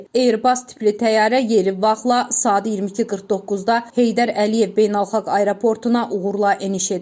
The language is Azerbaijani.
Airbus tipli təyyarə yeri vaxtla saat 22:49-da Heydər Əliyev Beynəlxalq Aeroportuna uğurla eniş edib.